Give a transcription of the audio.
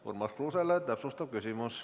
Urmas Kruuse, täpsustav küsimus.